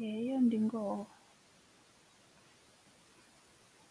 Heyo ndi ngoho